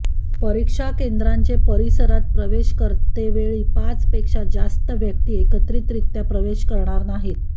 परीक्षा केंद्राचे परिसरात प्रवेश करतेवेळी पाच पेक्षा जास्त व्यक्ती एकत्रितरित्या प्रवेश करणार नाहीत